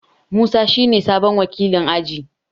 Musa shine sabon wakilin aji.